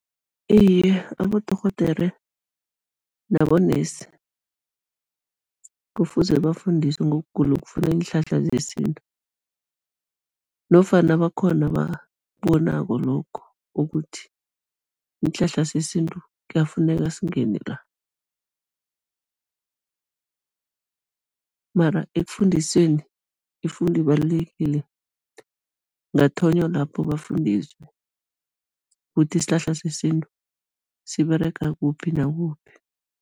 Iye, abodorhodere nabo-nurse kufuze bafundisiwe ngokugula okufuna iinhlahla zesintu nofana bakhona ababonako lokho, ukuthi isihlahla sesintu kuyafuneka singene la, mara ekufundisweni, ifundo ibalulekile, ngathonywa lapho bafundiswe ukuthi isihlahla sesintu siberega kuphi nakuphi.